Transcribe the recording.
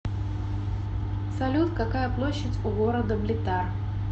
салют какая площадь у города блитар